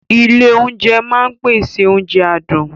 Ilé oúnjẹ máa ń pèsè oúnjẹ adùn